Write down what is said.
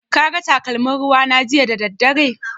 Ka ga takalmin ruwa na jiya da daddare?